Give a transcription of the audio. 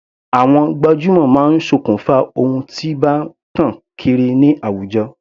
Àwọn gbajúmọ̀ máa sokùn fa ohun tí bá tàn kiri ní àwùjọ.